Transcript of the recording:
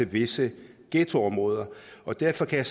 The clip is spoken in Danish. visse ghettoområder og derfor kan